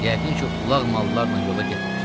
Yəqin ki, ulaq mallarla yola getmir.